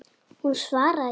Hún svaraði ekki.